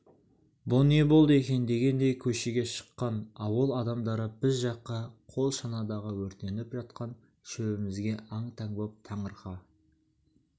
бұ не болды екен дегендей көшеге шыққан ауыл адамдары біз жаққа қол шанадағы өртеніп жатқан шөбімізге аң-таң боп таңырқай